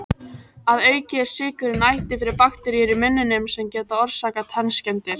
Að auki er sykurinn æti fyrir bakteríur í munninum, sem geta orsakað tannskemmdir.